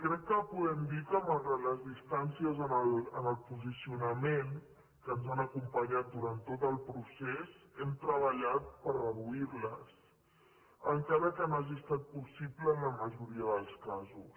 crec que podem dir que malgrat les distàncies en el posicionament que ens han acompanyat durant tot el procés hem treballat per reduir les encara que no hagi estat possible en la majoria dels casos